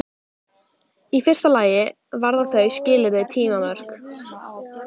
Í fyrsta lagi varða þau skilyrði tímamörk.